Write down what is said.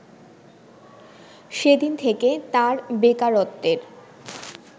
সেদিন থেকে তাঁর বেকারত্বের